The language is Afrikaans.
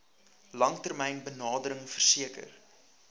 langtermyn benadering verseker